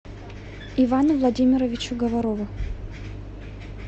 ивану владимировичу говорову